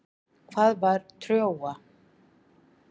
Hvað var Trója?